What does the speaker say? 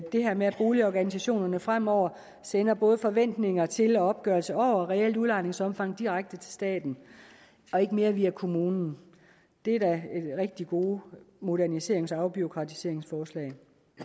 det her med at boligorganisationerne fremover sender både forventninger til og opgørelser over det reelle udlejningsomfang direkte til staten og ikke mere via kommunen det er da rigtig gode moderniserings og afbureaukratiseringsforslag